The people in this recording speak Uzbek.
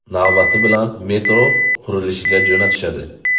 Navbati bilan metro qurilishga jo‘natishadi.